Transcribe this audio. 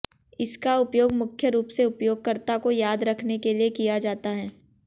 इसका उपयोग मुख्य रूप से उपयोगकर्ता को याद रखने के लिए किया जाता है